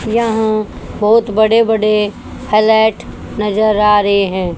यहां बहोत बड़े बड़े फ्लैट नजर आ रहे हैं।